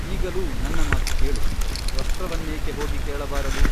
ಈಗಲೂ ನನ್ನ ಮಾತು ಕೇಳು ತ್ವಷ್ಟೃವನ್ನೇಕೆ ಹೋಗಿ ಕೇಳಬಾರದು!